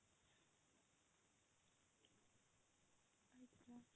ଆଚ୍ଛା।